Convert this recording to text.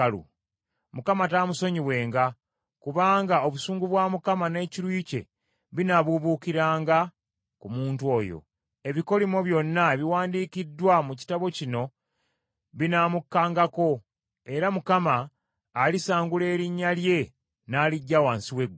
Mukama taamusonyiwenga, kubanga obusungu bwa Mukama n’ekiruyi kye binaabuubuukiranga ku muntu oyo. Ebikolimo byonna ebiwandiikiddwa mu Kitabo kino binaamukkangako, era Mukama alisangula erinnya lye n’aliggya wansi w’eggulu.